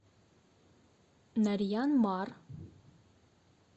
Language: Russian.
нарьян мар